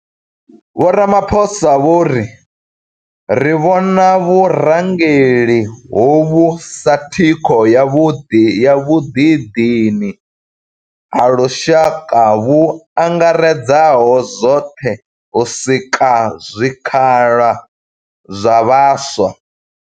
Vho Ramaphosa vho ri ri vhona vhurangeli hovhu sa thikho ya vhuḓidini ha lushaka vhu angaredzaho zwoṱhe u sika zwikhala zwa vhaswa.